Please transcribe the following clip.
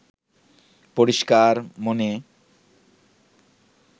পরিষ্কার মনে